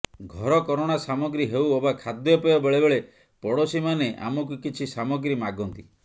ଘରକରଣା ସାମଗ୍ରୀ ହେଉ ଅବା ଖାଦ୍ୟପେୟ ବେଳେବେଳେ ପଡୋଶୀ ମାନେ ଆମକୁ କିଛି ସାମଗ୍ରୀ ମାଗନ୍ତି